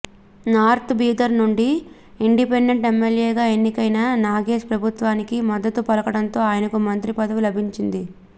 north Bidar నుండి independent ఎమ్మెల్యేగా ఎన్నికైన నగేశ్ ప్రభుత్వానికి మద్దతు పలకడంతో ఆయనకు మంత్రి పదవి లభించింది